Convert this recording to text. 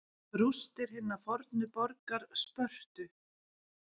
Rústir hinnar fornu borgar Spörtu.